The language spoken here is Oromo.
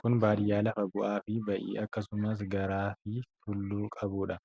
Kun baadiyyaa lafa bu'aa fi bayii akkasumas gaaara fi tulluu qabuudha.